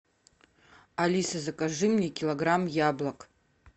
алиса закажи мне килограмм яблок